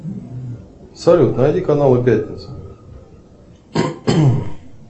салют найди каналы пятница